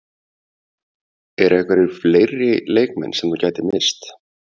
Eru einhverjir fleiri leikmenn sem þú gætir misst?